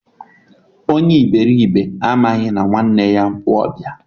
Onye iberibe amaghị na nwanne ya bụ ọbịa